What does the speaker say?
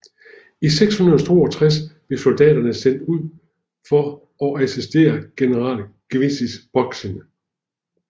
I 662 blev soldatene sendt ud for å assistere general Gwisil Boksin